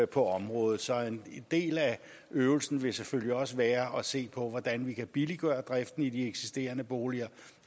på området så en del af øvelsen vil selvfølgelig også være at se på hvordan vi kan billiggøre driften i de eksisterende boliger